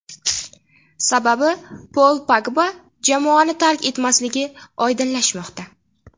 Sababi Pol Pogba jamoani tark etmasligi oydinlashmoqda.